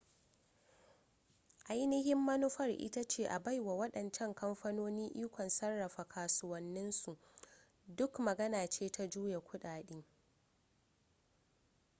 ainihin manufar ita ce a baiwa waɗancan kamfanoni ikon sarrafa kasuwannin su duk magana ce ta juya kudade